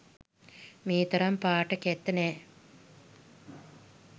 මේ තරම් පාට කැත නෑ.